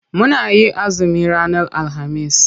Muna yin azumi ranar alhamis.